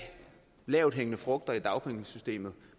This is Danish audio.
lavthængende frugter i dagpengesystemet